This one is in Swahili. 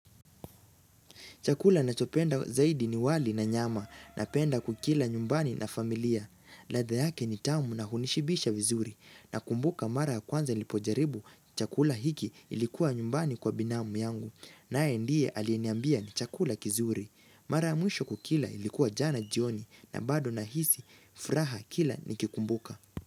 Chakula ninachopenda zaidi ni wali na nyama. Napenda kukila nyumbani na familia. Ladha yake ni tamu na hunishibisha vizuri. Nakumbuka mara ya kwanza nilipojaribu chakula hiki ilikuwa nyumbani kwa binamu yangu naye ndiye aliyeniambia ni chakula kizuri. Mara mwisho kukila ilikuwa jana jioni na bado nahisi, furaha kila nikikumbuka.